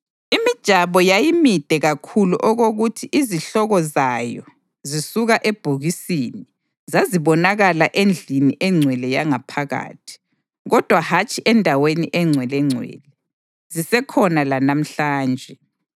Imijabo yayimide kakhulu okokuthi izihloko zayo, zisuka ebhokisini, zazibonakala endlini engcwele yangaphakathi, kodwa hatshi eNdaweni eNgcwelengcwele; zisekhona lanamhlanje.